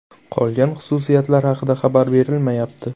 Qolgan xususiyatlari haqida xabar berilmayapti.